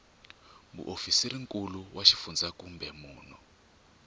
muofisirinkulu wa xifundzha kumbe munhu